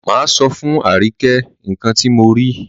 Máa sọ fún Àríkẹ́ nǹkan ti mo rí.